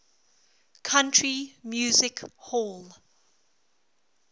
country music hall